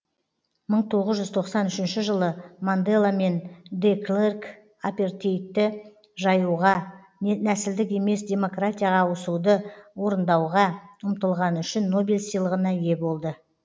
мың тоғыз жүз тоқсан үшінші жылы мандела мен де клерк апартеидті жоюға нәсілдік емес демократияға ауысуды орындауға ұмтылғаны үшін нобель сыйлығына ие болды